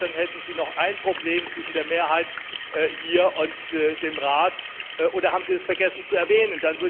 In der Tat, dann hätten Sie noch ein Problem zwischen der Mehrheit hier und dem Rat. Oder haben Sie vergessen, das zu erwähnen?